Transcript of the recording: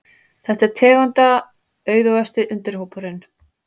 Þetta er tegundaauðugasti undirhópurinn.